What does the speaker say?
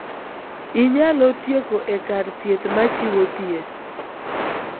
Inyalo tieko e kar thieth ma chiwo thieth.